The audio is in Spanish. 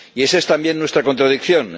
Y esa es también nuestra contradicción.